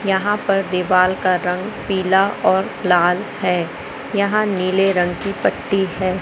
यहाँ पर दीवाल का रंग पीला और लाल है यहाँ नीले रंग की पट्टी है।